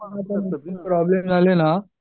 problem झाले ना